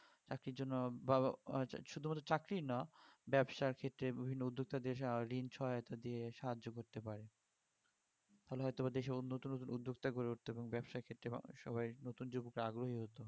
চাকরির জন্য বা~ বা শুধু মাত্র চাকরিই না ব্যাবসার ক্ষেত্রে বিভিন্ন উদ্যোক্তাদের ঋন সহায়তা দিয়ে সাহায্য করতে পারে ফলে হয়তো বা দেশে নতুন নতুন উদ্যোক্তা গড়ে উঠতো এবং ব্যবসার ক্ষেত্রে সবাই নতুন . আগ্রহী হতো